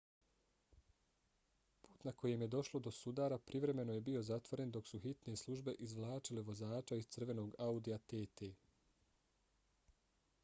put na kojem je došlo do sudara privremeno je bio zatvoren dok su hitne službe izvlačile vozača iz crvenog audija tt